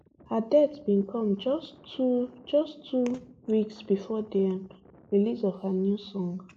her death bin come just two just two weeks bifor di um release of her new song